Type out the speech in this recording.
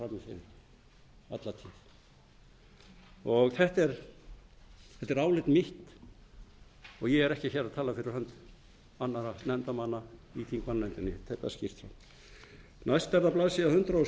frammi fyrir alla tíð þetta er álit mitt og ég er ekki að tala fyrir hönd annarra nefndarmanna í þingmannanefndinni ég tek það skýrt fram næst er það blaðsíður